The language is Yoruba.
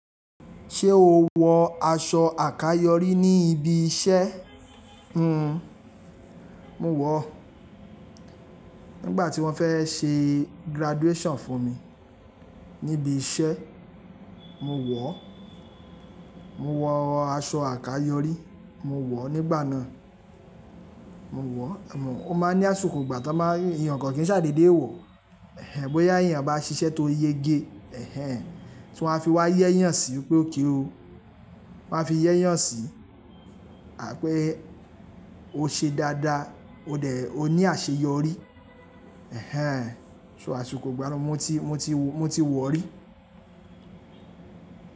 Ṣé o wọ aṣọ àkayòrí ní ibi iṣẹ́? Hmm, mo wọ̀ o. Nígbà tí wọ́n fẹ́ ṣe graduation fún mi níbi iṣẹ́, mo wọ̀. Mo wọ aṣọ àkayòrí, mo wọ̀ nígbà náà. Mo wọ̀, emo o máa ń ní àsikò ìgbà tó máa ń, èèyàn kankan kì í ṣàdédé wọ̀. Ẹ̀hẹn, bóyá èèyàn bá ṣiṣẹ́ tó yege. Ẹ̀hẹn, tí wọ́n fi wá yẹ́ yàn sí i pé okay o. Wọ́n á fi yẹ́ yàn sí i àh pé ó ṣe dáadáa, ó dẹ̀, ó ní àṣeyọrí. Ẹ̀hẹn, so àsikò ìgba náà mo ti, mo ti wọ̀ rí.